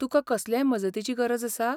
तुकां कसलेय मजतीची गरज आसा?